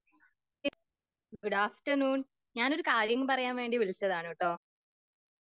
Good ആഫ്റ്റർനൂൺ.ഞാൻ ഒരു കാര്യം പറയാൻ വേണ്ടി വിളിച്ചതാണുട്ടോ.